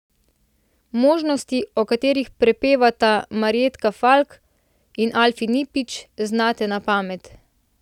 Možnosti, o katerih prepevata Marjetka Falk in Alfi Nipič, znate na pamet.